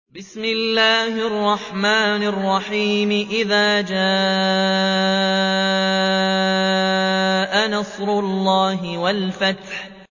إِذَا جَاءَ نَصْرُ اللَّهِ وَالْفَتْحُ